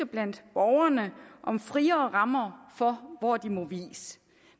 blandt borgerne om friere rammer for hvor de må vies